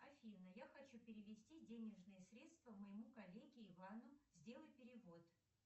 афина я хочу перевести денежные средства моему коллеге ивану сделай перевод